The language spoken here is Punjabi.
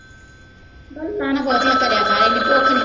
ਗੱਲਾਂ ਨਾ ਬਹੁਤੀਆਂ ਕਰਿਆ ਕਰ ਇੰਨੀ ਭੁੱਖ ਨੀ